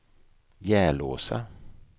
Järlåsa